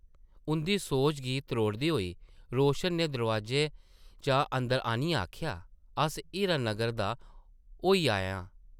उंʼदी सोच गी त्रोड़दे होई रोशन नै दरोआजे चा अंदर आनियै आखेआ, ‘‘अस हीरा नगर दा होई आए आं ।’’